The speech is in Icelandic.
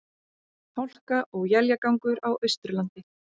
Hálka og éljagangur á Austurlandi